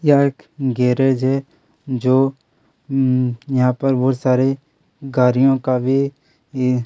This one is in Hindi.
यह एक गैरेज है जो अम यहाँ पे बहुत सारे गारीयों का भी ये --.